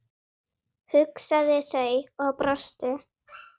hugsuðu þau og brostu.